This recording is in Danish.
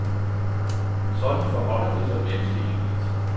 Sådan forholder det sig ganske enkelt.